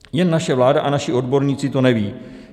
Jen naše vláda a naši odborníci to neví.